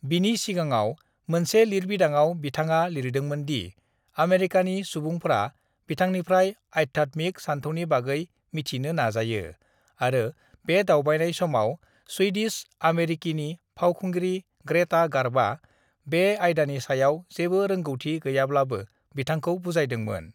बिनि सिगाङाव मोनसे लिरबिदांआव बिथाङा लिरदोंमोन दि आमेरिकानि सुबुंफ्रा बिथांनिफ्राय आध्यात्मिक सानथौनि बागै मिथिनो नाजायो आरो बे दावबायनाय समाव स्वीडिश-आमेरिकीनि फावखुंग्रि ग्रेटा गार्ब'आ बे आयदानि सायाव जेबो रोंगौथि गैयाब्लाबो बिथांखौ बुजायदोंमोन।